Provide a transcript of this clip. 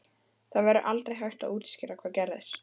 Það verður aldrei hægt að útskýra hvað gerðist.